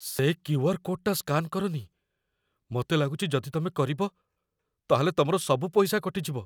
ସେ କ୍ୟୁ.ଆର୍. କୋଡ଼୍‌ଟା ସ୍କାନ୍ କରନି । ମତେ ଲାଗୁଚି ଯଦି ତମେ କରିବ, ତା'ହେଲେ ତମର ସବୁ ପଇସା କଟିଯିବ ।